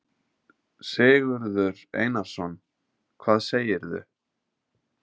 Sigurður Einarsson: Hvað segirðu?